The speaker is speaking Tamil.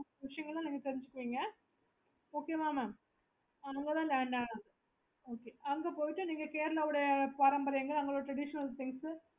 okay